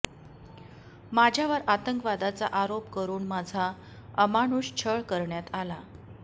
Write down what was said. माझ्यावर आतंकवादाचा आरेाप करून माझा अमानुष छळ करण्यात आला